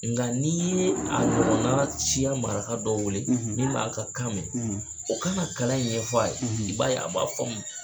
Nka n'i ye a ɲɔgɔn siya maraka dɔ wele , min b'a ka kan in mɛn o ka na kalan in ɲɛfɔ a ye , i b baa ye a b'a faamu.